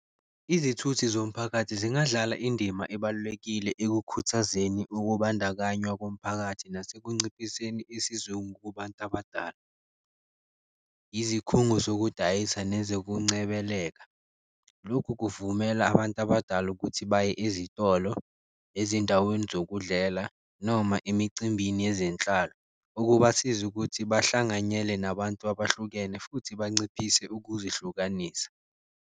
Izithuthi zomphakathi zingadlala indima ebalulekile ekukhuthazeni ukubandakanywa komphakathi, nasekunciphiseni isizungu kubantu abadala, izikhungo zokudayisa nezekuncebeleka. Lokhu kuvumela abantu abadala ukuthi baye ezitolo, ezindaweni zokudlela noma emicimbini yezenhlalo, okubasiza ukuthi bahlanganyele nabantu abahlukene futhi banciphise ukuzihlukanisa.